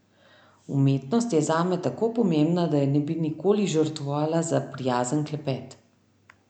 Umetnost je zame tako pomembna, da je ne bi nikoli žrtvovala za prijazen klepet.